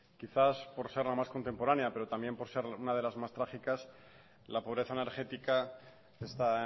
quizás por ser la más contemporánea pero también por ser una de las más trágicas la pobreza energética está